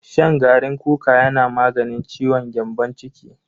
Shan garin kuka yana maganin ciwon gyambon ciki.